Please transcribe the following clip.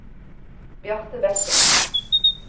Bjarte Bekken